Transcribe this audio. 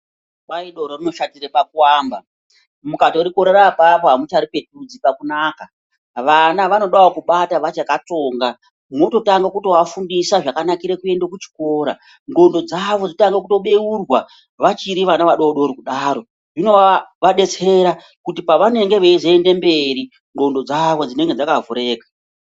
Kwai doro rinoshatire pakuamba. Mukatorikorera apapo amucharipetudzi pakunaka. Vana vanodawo kubata vachakatsonga. Mwototange kutoafundisa zvakanakire kuenda kuchikora. Ngondo dzavo dzotange kubeurwa vachiri vadodori kudaro. Zvinovadetsera kuti pavanozoende mberi ngondo dzavo dzinonga dzakavhurika.